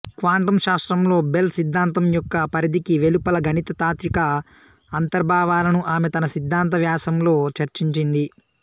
quantum శాస్త్రంలో Bell సిద్ధాంతం యొక్క పరిధికి వెలుపల గణిత తాత్విక అంతర్భావాలను ఆమె తన సిద్ధాంత వ్యాసంలో చర్చించింది